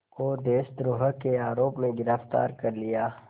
को देशद्रोह के आरोप में गिरफ़्तार कर लिया